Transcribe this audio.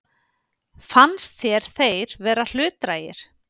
Fannst þér þeir vera hlutdrægir?